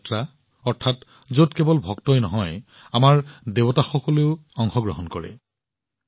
দেৱ যাত্ৰা অৰ্থাৎ যত কেৱল ভক্তই নহয় আমাৰ দেৱতাসকলেও যাত্ৰালৈ ওলাই যায়